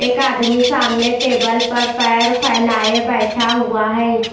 एक आदमी सामने टेबल पर पैर फैलाये बैठा हुआ है।